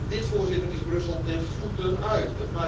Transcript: Dit, Voorzitter, is Brussel ten voeten uit.